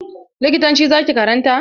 Likitanci za ki karanta?